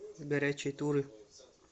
горячие туры